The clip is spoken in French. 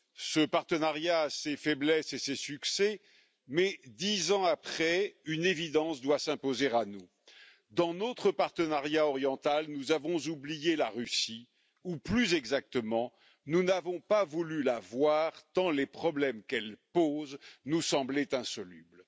Ce partenariat a ses faiblesses et ses succès, mais dix ans après, une évidence doit s'imposer à nous dans notre partenariat oriental, nous avons oublié la Russie ou, plus exactement, nous n'avons pas voulu la voir, tant les problèmes qu'elle pose nous semblaient insolubles.